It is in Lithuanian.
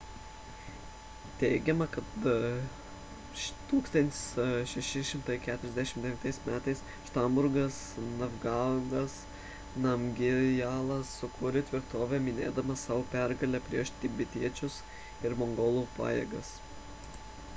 teigiama kad 1649 m šabdrungas ngavangas namgijalas sukūrė tvirtovę minėdamas savo pergalę prieš tibetiečių ir mongolų pajėgas